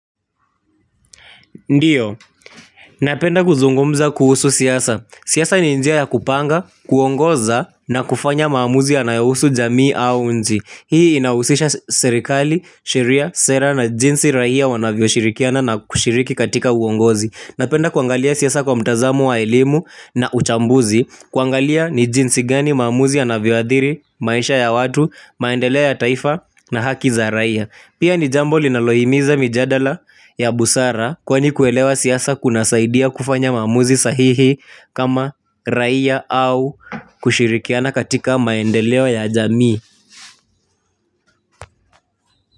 Ndiyo. Napenda kuzungumza kuhusu siyasa. Siyasa ni njia ya kupanga, kuongoza na kufanya maamuzi yanayowusu jamii au nchi. Hii inawusisha serikali, sheria, sera na jinsi rahia wanavyo shirikiana na kushiriki katika uongozi. Napenda kuangalia siyasa kwa mtazamo wa elimu na uchambuzi. Kuangalia ni jinsi gani maamuzi anavyoadhiri, maisha ya watu, maendelea ya taifa na haki za rahia. Pia ni jambo linalohimiza mijadala ya busara kwani kuelewa siyasa kuna saidia kufanya mamuzi sahihi kama raia au kushirikiana katika maendelewo ya jamii.